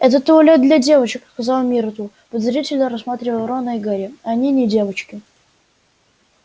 это туалет для девочек сказала миртл подозрительно рассматривая рона и гарри а они не девочки